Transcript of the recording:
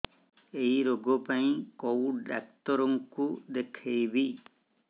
ଏଇ ରୋଗ ପାଇଁ କଉ ଡ଼ାକ୍ତର ଙ୍କୁ ଦେଖେଇବି